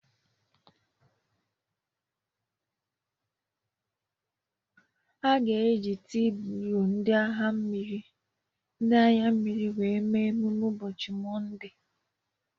A ga-eji tii blue ndị agha mmiri mee emume ụbọchị Mọnde